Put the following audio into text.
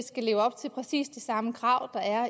set leve op til præcis det samme krav